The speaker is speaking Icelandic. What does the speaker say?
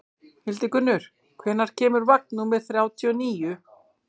Hildingur, hvenær kemur vagn númer þrjátíu og níu?